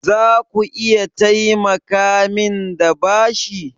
Zaku iya taimakamin da bashi?